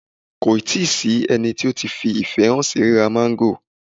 Kò tí ì sí ẹni tó ti fi ìfẹ́ hàn sí ríra máńgò